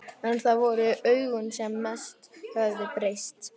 En það voru augun sem mest höfðu breyst.